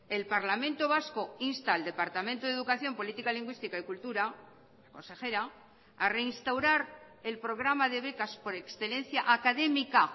el parlamento vasco insta al departamento de educación política lingüística y cultura consejera a reinstaurar el programa de becas por excelencia académica